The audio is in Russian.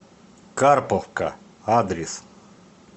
карповка адрес